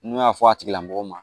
N'u y'a fɔ a tigila mɔgɔ ma